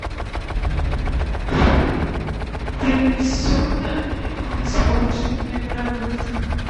принесены испорченные продукты